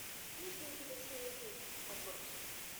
есть ли у тебя серия девять отбросы